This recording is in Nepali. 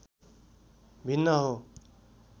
भिन्न हो